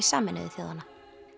Sameinuðu þjóðanna